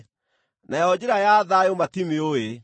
nayo njĩra ya thayũ matimĩũĩ.”